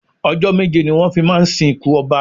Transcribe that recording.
Ọjọ́ méje ni wón fi máa ń sì kún Ọba.